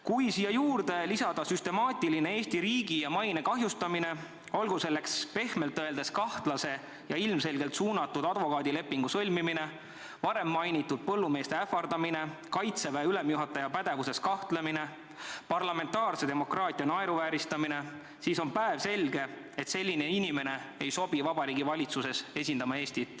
Kui siia juurde lisada süstemaatiline Eesti riigi ja maine kahjustamine, olgu selleks pehmelt öeldes kahtlase ja ilmselgelt suunatud advokaadilepingu sõlmimine, varem mainitud põllumeeste ähvardamine, Kaitseväe ülemjuhataja pädevuses kahtlemine, parlamentaarse demokraatia naeruvääristamine, siis on päevselge, et selline inimene ei sobi Vabariigi Valitsuses Eestit esindama.